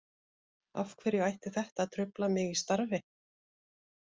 Af hverju ætti þetta að trufla mig í starfi?